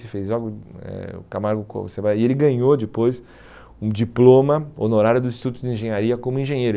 E ele ganhou depois um diploma honorário do Instituto de Engenharia como engenheiro.